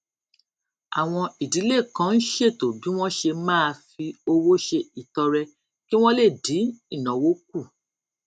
àwọn ìdílé kan ń ṣètò bí wón ṣe máa fi owó ṣe ìtọrẹ kí wón lè dín ìnáwó kù